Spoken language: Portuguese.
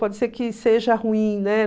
Pode ser que seja ruim, né?